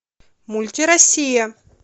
мульти россия